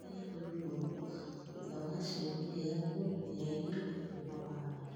thamĩa mĩũngũrwa thũtha wa cĩũmĩa ĩthatũ ngĩnya ĩnya kũũma wahanda